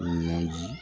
Ɲɔn di